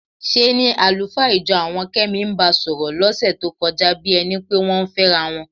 ṣe ni àlùfáà ìjọ àwọn Kẹ́mi ń ba sọ̀rọ̀ lọ́sẹ̀ tó kọjá bí ẹni pé wọ́n ń fẹ́ra wọn.